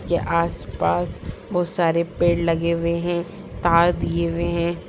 यह आसपास बहुत सारे पेड़ लगे हुए हैं तार दिए हुए हैं ।